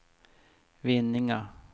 Vinninga